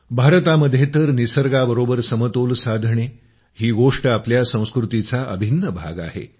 भारतामध्ये तर निसर्गाबरोबर समतोल साधणे ही गोष्ट आपल्या संस्कृतीचा अभिन्न भाग आहे